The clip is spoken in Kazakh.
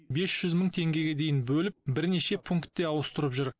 бес жүз мың теңгеге дейін бөліп бірнеше пункте ауыстырып жүр